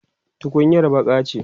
tukunyar baƙa ce